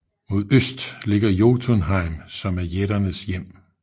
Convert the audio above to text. Mod øst ligger Jotunheim som er jætternes hjem